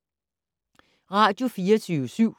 Radio24syv